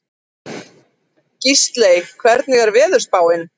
Gísley, hvernig er veðurspáin?